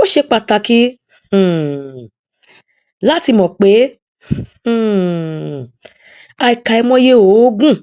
ó ṣe pàtàkì um láti mọ pé um àkàìmọye òógùn